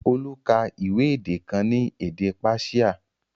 Olu ka ìwé èdè kan ní èdè Páṣíà